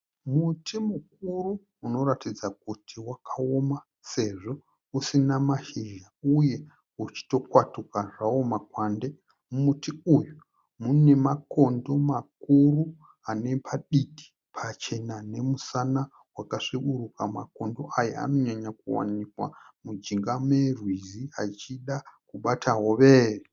Muti mukuru unoratidza kuti wakaoma sezvo usina mashizha uye uchitokwatukwa zvawo makwande. Muti uyu mune makondo makuru ane paditi pachena nemusana wakasvukuruka. Makondo aya anonyakuwanikwa mujinga merwizi achida kubata hove.